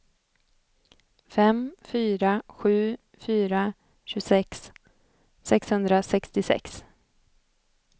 fem fyra sju fyra tjugosex sexhundrasextiosex